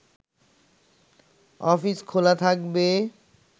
office খোলা থাকবে